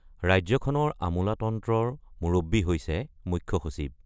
ৰাজ্যখনৰ আমোলাতন্ত্ৰৰ মুৰব্বী হৈছে মুখ্য সচিব।